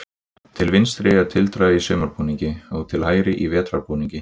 Til vinstri er tildra í sumarbúningi og til hægri í vetrarbúningi